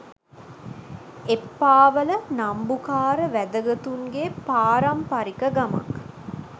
එප්පාවල නම්බුකාර වැදගතුන්ගේ පාරම්පරික ගමක්